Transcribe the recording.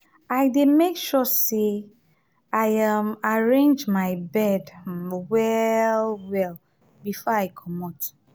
i dey make sure sey i um arrange my bed um well-well before i comot.